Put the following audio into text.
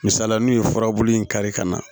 Misala n'u ye furabulu in kari ka na